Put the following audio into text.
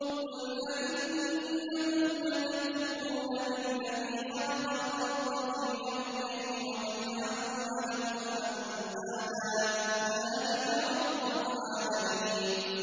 ۞ قُلْ أَئِنَّكُمْ لَتَكْفُرُونَ بِالَّذِي خَلَقَ الْأَرْضَ فِي يَوْمَيْنِ وَتَجْعَلُونَ لَهُ أَندَادًا ۚ ذَٰلِكَ رَبُّ الْعَالَمِينَ